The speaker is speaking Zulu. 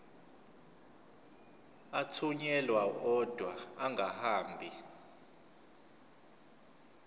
athunyelwa odwa angahambi